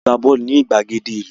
A lọ gbá bọ́ọ̀lù ní ìgbàgede ìlú